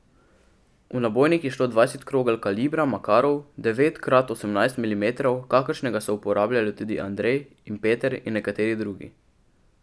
V nabojnik je šlo dvajset krogel kalibra makarov devet krat osemnajst milimetrov, kakršnega so uporabljali tudi Andrej in Peter in nekateri drugi.